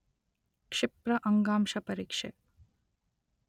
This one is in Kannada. ಕ್ಷಿಪ್ರ ಅಂಗಾಂಶಪರೀಕ್ಷೆ